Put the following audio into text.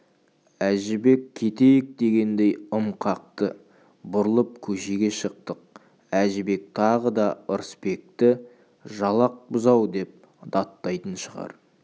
әжібек кетейік дегендей ым қақты бұрылып көшеге шықтық әжібек тағы да ырысбекті жалақ бұзау деп даттайтын шығар